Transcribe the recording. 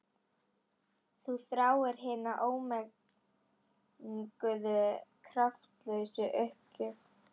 Þú þráir hina ómenguðu kraftlausu uppgjöf.